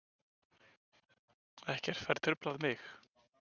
Ekkert fær truflað mig.